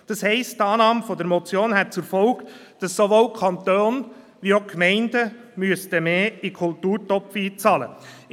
Das heisst, die Annahme der Motion hätte zur Folge, dass sowohl der Kanton als auch die Gemeinden mehr in den Kulturtopf einzahlen müssten.